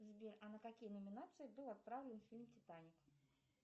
сбер а на какие номинации был отправлен фильм титаник